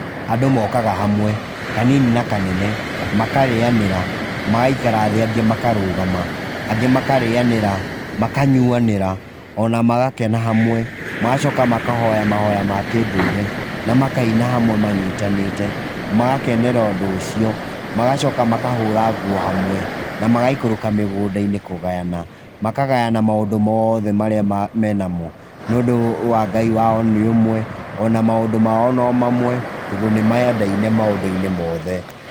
Andũ mokaga hamwe, kanini na kanene, makarĩanĩra, magaikara thĩ angĩ makarũgama, angĩ makarĩanĩra, makanyuanĩra, o na magakena hamwe. Magacoka makahoya mahoya ma kĩndũire, na makaina hamwe manyitanĩte, magakenera ũndũ ũcio. Magacoka makahũra nguo hamwe, na magaikũrũka mĩgũnda-inĩ hamwe kũgayana. Makagayana maũndũ mothe mena mo. Nĩũndũ wa Ngai wao nĩ ũmwe, ona maũndũ mao no mamwe, tondũ nĩ mendaine maũndũ-inĩ mothe.